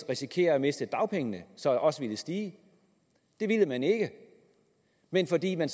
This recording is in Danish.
risikere at miste dagpengene så også ville stige det ville man ikke men fordi man